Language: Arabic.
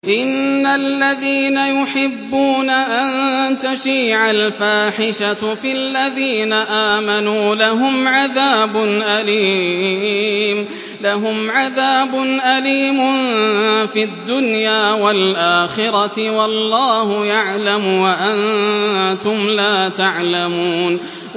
إِنَّ الَّذِينَ يُحِبُّونَ أَن تَشِيعَ الْفَاحِشَةُ فِي الَّذِينَ آمَنُوا لَهُمْ عَذَابٌ أَلِيمٌ فِي الدُّنْيَا وَالْآخِرَةِ ۚ وَاللَّهُ يَعْلَمُ وَأَنتُمْ لَا تَعْلَمُونَ